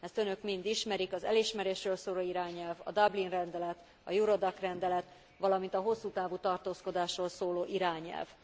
Ezt Önök mind ismerik, az elismerésről szóló irányelv, a Dublin rendelet, az Eurodac rendelet, valamint a hosszú távú tartózkodásról szóló irányelv.